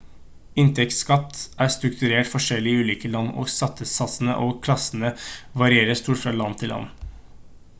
inntektsskatt er strukturert forskjellig i ulike land og skattesatsene og klassene varierer stort fra land til land